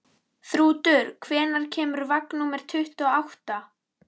Þrútur, hvenær kemur vagn númer tuttugu og átta?